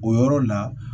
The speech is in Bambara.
O yɔrɔ la